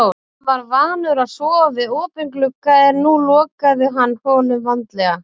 Hann var vanur að sofa við opinn glugga en nú lokaði hann honum vandlega.